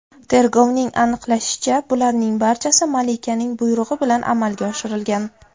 Tergovning aniqlashicha, bularning barchasi malikaning buyrug‘i bilan amalga oshirilgan.